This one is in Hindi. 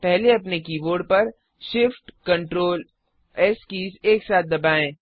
पहले अपने कीबोर्ड पर shiftctrls कीज़ एक साथ दबाएं